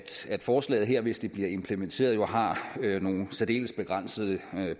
forslaget her hvis det bliver implementeret har nogle særdeles begrænsede